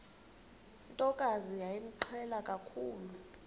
ntokazi yayimqhele kakhulu